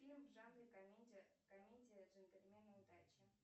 фильм в жанре комедия комедия джентльмены удачи